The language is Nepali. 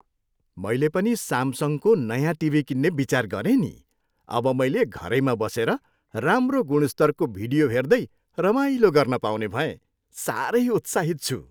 मैले पनि सामसङको नयाँ टिभी किन्ने विचार गरेँ नि। अब मैले घरैमा बसेर राम्रो गुणस्तरको भिडियो हेर्दै रमाइलो गर्न पाउने भएँ। साह्रै उत्साहित छु।